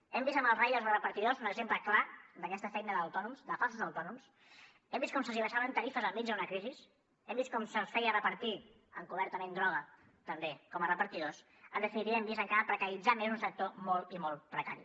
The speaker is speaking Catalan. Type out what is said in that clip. hem vist amb els riders o repartidors un exemple clar d’aquesta feina d’autònoms de falsos autònoms hem vist com se’ls abaixaven tarifes enmig d’una crisi hem vist com se’ls feia repartir encobertament droga també com a repartidors en definitiva hem vist encara precaritzar més un sector molt i molt precari